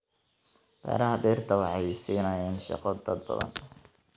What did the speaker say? Beeraha dhirta waxay siinayaan shaqo dad badan.